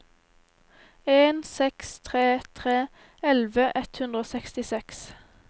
en seks tre tre elleve ett hundre og sekstiseks